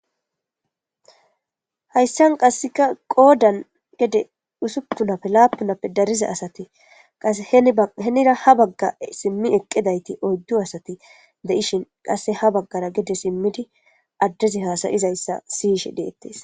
Hayssan qasseka qoodan gede usuptunappe laapunappe dariza asati qas henira habagga simmi eqqidayti oyddu asati de'ishin qasse ha baggara gede simmidi addezi hasayizayssa siyishe deettes.